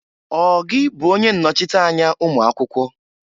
Ọ gị bụ onye nnọchịta anya ụmụakwụkwọ?